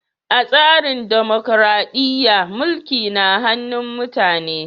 A tsarin dimokuradiyya, mulki na hannun mutane ne.